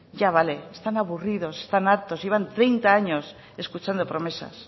ya vale están aburridos están hartos llevan treinta años escuchando promesas